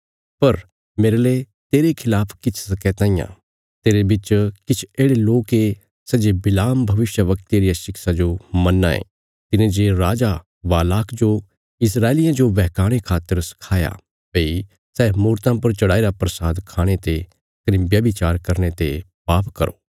पर मेरले तेरे खलाफ किछ शकैतां इ तेरे बिच किछ येढ़े लोक ये सै जे बिलाम भविष्यवक्ते रिया शिक्षा जो मन्नां ये तिने जे राजा बालाक जो इस्राएलियां जो बेहकाणे खातर सखाया भई सै मूरतां पर चढ़ाईरा प्रसाद खाणे ते कने व्यभिचार करने ते पाप करो